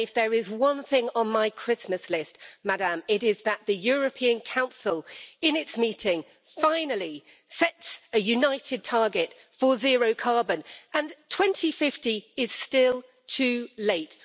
And if there is one thing on my Christmas list, it is that the European Council in its meeting finally sets a united target for zero carbon and 2050 is still too late.